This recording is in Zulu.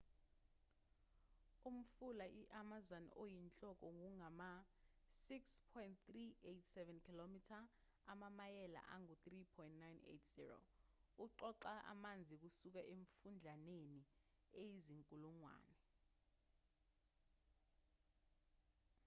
umfula i-amazon oyinhloko ungama-6,387 km amamayela angu-3,980. uqoqa amanzi kusuka emifudlaneni eyizinkulungwane